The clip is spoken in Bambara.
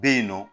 Bɛ yen nɔ